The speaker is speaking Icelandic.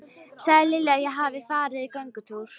Segðu Lilju að ég hafi farið í göngutúr.